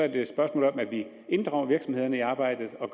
er det et spørgsmål om at vi inddrager virksomhederne i arbejdet og